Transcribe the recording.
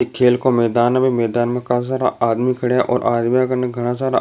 एक खेल का मैदान है मैदान में घना सारा आदमी खड़े हैं और आदमी मे घना सारा --